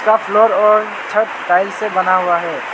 Top floor और छत tile से बना हुआ है।